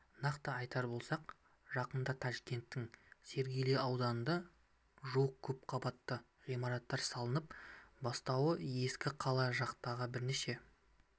нақты айтар болсақ жақында ташкенттің сергели ауданында жуық көпқабатты ғимараттардың салына бастауы ескі қала жақтағы бірнеше